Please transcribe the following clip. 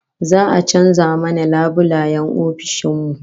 Za'a canza mana labulayen ofishin mu